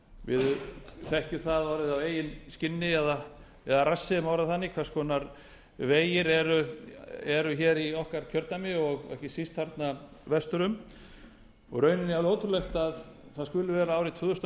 við þekkjum það orðið á eigin skinni eða rassi ef má orða það þannig hvers konar vegir eru hér í okkar kjördæmi og ekki síst þarna vestur um og rauninni er það alveg ótrúlegt að það skuli vera árið tvö þúsund og